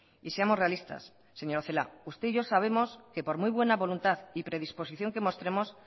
y seamos realistas señora celaá usted y yo sabemos que por muy buena voluntad y predisposición que mostremos